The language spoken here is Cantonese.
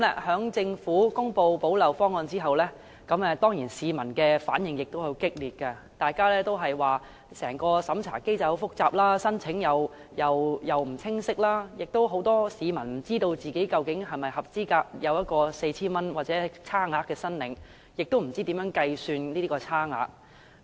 在政府公布補漏方案後，市民的反映當然十分激烈，大家也說整個審查機制非常複雜，申請程序亦不清晰，很多市民都不知道自己究竟是否符合資格申領 4,000 元或當中的差額，亦不知道如何計算差額。